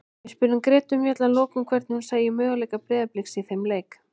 Við spurðum Gretu Mjöll að lokum hvernig hún sæi möguleika Breiðabliks í þeim leik.